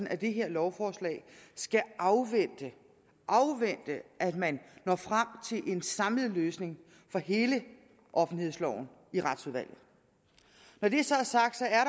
af det her lovforslag skal afvente at man når frem til en samlet løsning for hele offentlighedsloven i retsudvalget når det så er sagt er